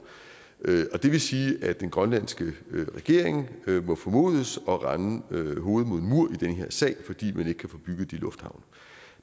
det vil sige at den grønlandske regering må formodes at ramme hovedet mod en mur i den her sag fordi man ikke kan få bygget de lufthavne